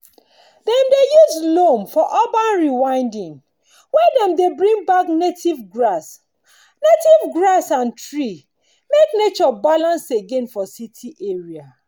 dem dey use loam for urban rewilding where dem dey bring back native grass native grass and tree make nature balance again for city area.